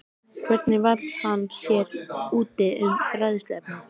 Hvernig varð hann sér úti um fræðsluefnið?